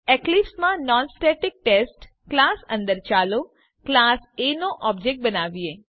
એક્લીપ્સમાં non static test class અંદર ચાલો class A નો ઓબ્જેક્ટ બનાવીએ